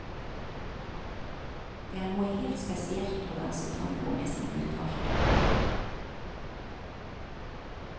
Det er noe helt spesielt å danse tango med sin utvalgte.